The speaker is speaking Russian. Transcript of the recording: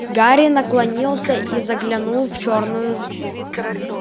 гарри наклонился и заглянул в чёрную